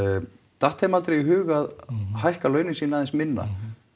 datt þeim aldrei í hug að hækka launin sín aðeins minna